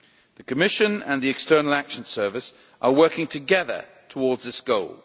The Commission and the External Action Service are working together towards this goal.